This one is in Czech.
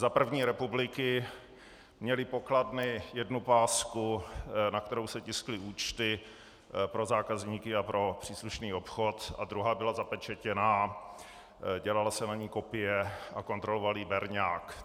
Za první republiky měly pokladny jednu pásku, na kterou se tiskly účty pro zákazníky a pro příslušný obchod, a druhá byla zapečetěná, dělala se na ní kopie a kontroloval ji berňák.